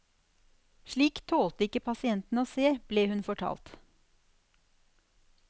Slikt tålte ikke pasientene å se, ble hun fortalt.